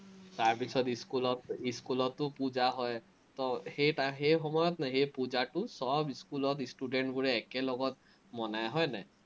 তাৰপিচত ইস্কুলত, ইস্কুলতো পুজা হয়, তো সেই সেই সময়ত ন সেই পুজাটো চব ইস্কুলত ইষ্টুদেন্টবোৰে একেলত মনায়, হয় নাই?